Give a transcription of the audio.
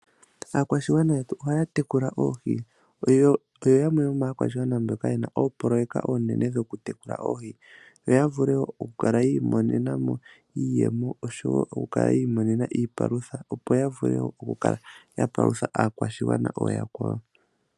Aakwashigwana yetu ohaya tekula oohi, oyo yamwe yomaakwashigwana mboka yena oopololeka oonene dhoku tekula oohi opo yavule okukala yi imonena iiyemo oshowo okukala yi imonena iipalutha yo yavule oku kala ya palutha aakwashigwana ooyakwawo.